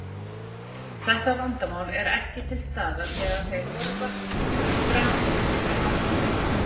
Þetta vandamál er ekki til staðar þegar þeir horfa fram fyrir sig í vatninu.